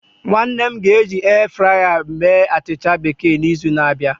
Nwanne m ga eji airfryer mee achịcha bekee na izu na abịa